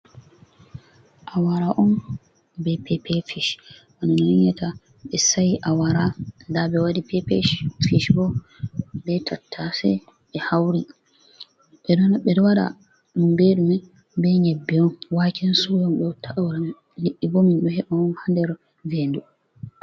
Awara on be pepe fish on yiatan nda ɓe sa'i awara nda ɓe wadi pepe fish bo be tattase ɓe hauri ɓeɗo waɗa ɗum beɗume be nƴabbe on, waken suya bo ɓe watta awara mai liɗɗibo min ɗo heɓa on haa nder ve'ndu.